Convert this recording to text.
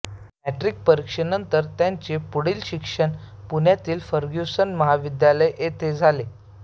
matric परीक्षेनंतर त्यांचे पुढील शिक्षण पुण्यातील फर्ग्युसन महाविद्यालय येथे झाले